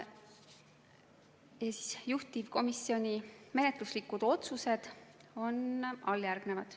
Juhtivkomisjoni menetluslikud otsused on järgmised.